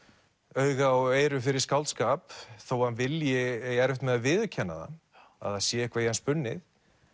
auga og eyru fyrir skáldskap þó hann eigi erfitt með að viðurkenna það að það sé eitthvað í hann spunnið